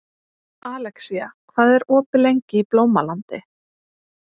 Alexía, hvað er opið lengi í Blómalandi?